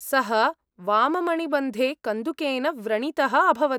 सः वाममणिबन्धे कन्दुकेन व्रणितः अभवत्।